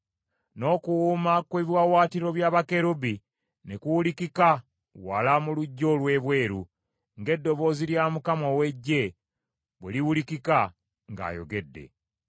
N’okuwuuma kw’ebiwaawaatiro bya bakerubi ne kuwulikika wala mu luggya olw’ebweru, ng’eddoboozi lya Mukama ow’Eggye bwe liwulikika ng’ayogedde.